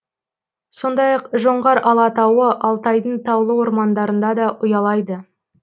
сондай ақ жоңғар алатауы алтайдың таулы ормандарында да ұялайды